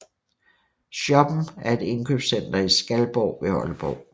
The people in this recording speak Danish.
Shoppen er et indkøbscenter i Skalborg ved Aalborg